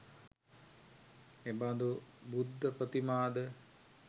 එබඳු බුද්ධ ප්‍රතිමා ද